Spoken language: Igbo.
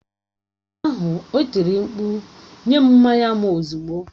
Ụnyaahụ, o tiri mkpu nye m mmanya m ozugbo!